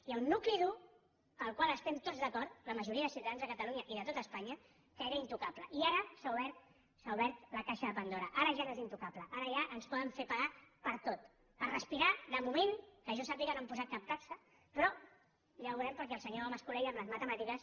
hi ha un nucli dur en el qual estem tots d’acord la majoria de ciutadans de catalunya i de tot espanya que era intocable i ara s’ha obert la caixa de pandora ara ja no és intocable ara ja ens poden fer pagar per tot per respirar de moment que jo sàpiga no han posat cap taxa però ja ho veurem perquè el senyor mas colell amb les matemàtiques